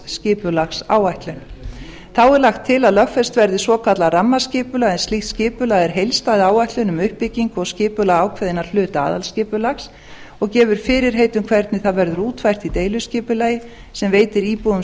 þá er lagt til að lögfest verði svokallað rammaskipulag en slíkt skipulag er heildstæð áætlun um uppbyggingu og skipulag ákveðinna hluta aðalskipulags og gefur fyrirheit um hvernig það verður útfært í deiliskipulagi sem veitir íbúum